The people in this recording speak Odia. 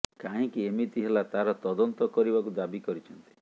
କାହିଁକି ଏମିତି ହେଲା ତାହାର ତଦନ୍ତ କରିବାକୁ ଦାବି କରିଛନ୍ତି